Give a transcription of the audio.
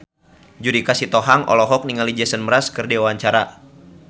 Judika Sitohang olohok ningali Jason Mraz keur diwawancara